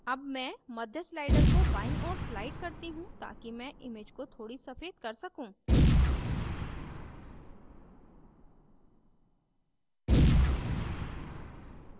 अब मैं मध्य slider को बाईं ओर slide करती हूँ ताकि मैं image को थोड़ी सफ़ेद कर सकूँ